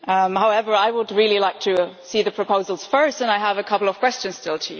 However, I would really like to see the proposals first and I have a couple of questions still.